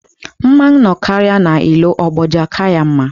Mmanwụ nọkarịa n'ilo, ogbodu aka ya mma.